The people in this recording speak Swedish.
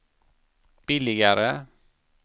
billigare